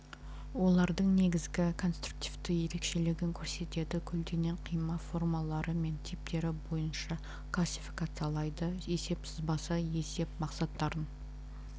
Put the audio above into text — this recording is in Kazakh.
олардың негізгі конструктивті ерекшелігін көрсетеді көлденең қима формалары мен типтері бойынша классификациялайды есеп сызбасы есеп мақсаттарын